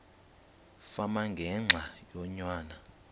fama ngenxa yonyana